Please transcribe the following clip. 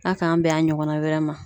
A k'an bɛn a ɲɔgɔnna wɛrɛ ma.